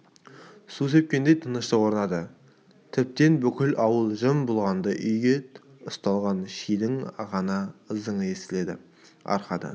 су сепкендей тыныштық орнады тіптен бүкіл ауыл жым болғандай үйге ұсталған шидің ғана ызыңы естіледі арқадан